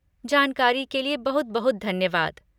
जानकारी के लिए बहुत बहुत धन्यवाद।